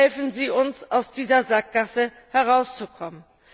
Helfen Sie uns, aus dieser Sackgasse herauszukommen!